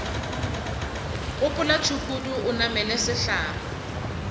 gopola tšhukudu o namele sehlare